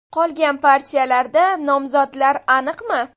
Qolgan partiyalarda nomzodlar aniqmi?”.